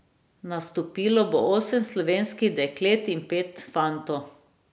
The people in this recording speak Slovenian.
Nastopilo bo osem slovenskih deklet in pet fantov.